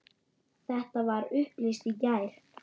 Þetta var upplýst í gær.